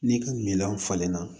N'i ka miliyɔn falenna